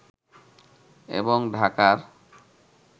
এবং ঢাকার